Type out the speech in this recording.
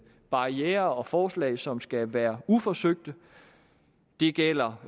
barrierer og forslag som skal være uforsøgte det gælder